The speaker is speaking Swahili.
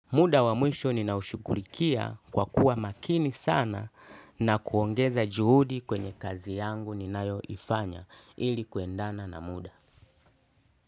Muda wa mwisho ninaushughulikia kwa kuwa makini sana na kuongeza juhudi kwenye kazi yangu ninayoifanya ili kuendana na muda.